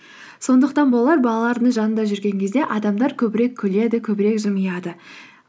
сондықтан болар балалардың жанында жүрген кезде адамдар көбірек күледі көбірек жымияды